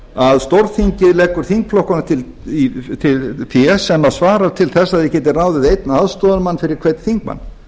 að stórþingið leggur þingflokkunum til fé sem svarar til þess að þeir geti ráðið einn aðstoðarmann fyrir hvern þingmann